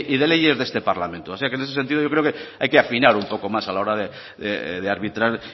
de leyes de este parlamento o sea que en ese sentido yo creo que hay que afinar un poco más a la hora de arbitrar